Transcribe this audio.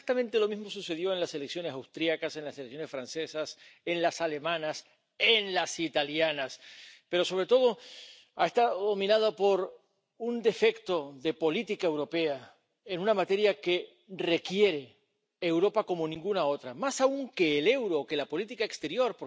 Exactamente lo mismo sucedió en las elecciones austriacas, en las elecciones francesas, en las alemanas, en las italianas, pero sobre todo han estado dominadas por un defecto de política europea en una materia que requiere Europa como ninguna otra, más aún que el euro o que la política exterior.